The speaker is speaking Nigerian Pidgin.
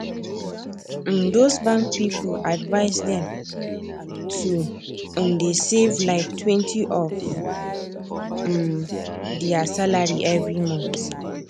um those bank people advice them to um dey save liketwentyof um there salary every month